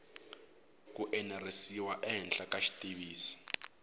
ku enerisiwa ehenhla ka xitiviso